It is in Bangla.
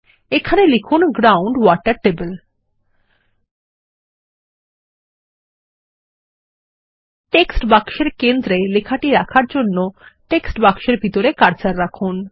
এখানে লিখুন গ্রাউন্ড ওয়াটার টেবল টেক্সট বাক্সের কেন্দ্রে লেখাটি রাখার জন্য টেক্সট বাক্সের ভিতরে কার্সার রাখুন